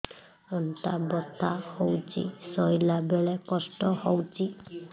ଅଣ୍ଟା ବଥା ହଉଛି ଶୋଇଲା ବେଳେ କଷ୍ଟ ହଉଛି